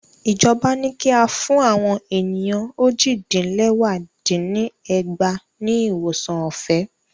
Ìjọba ní kí a fún àwọn ènìyàn ójì dín lẹwá dín ní ẹgbàá ní ìwòsàn ọ̀fẹ́